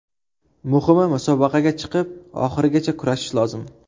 Muhimi, musobaqaga chiqib, oxirigacha kurashish lozim.